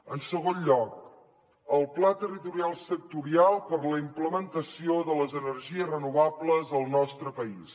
en segon lloc el pla territorial sectorial per a la implementació de les energies renovables al nostre país